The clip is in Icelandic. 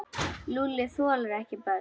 Lúlli þolir ekki börn.